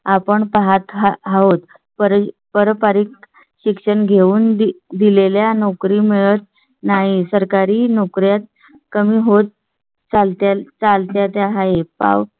आपण पाहात आहोत. पर पारिक शिक्षण घेऊन दिलेल्या नोकरी मिळत नाही. सरकारी नोकरीत कमी होत चालता चालता ते आहे पाव.